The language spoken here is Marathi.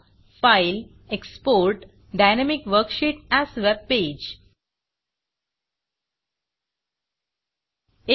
Fileफाइल एक्सपोर्ट gtgtएक्सपोर्ट डायनॅमिक वर्कशीट एएस webpageडाइनमिक वर्कशीट अस वेबपेज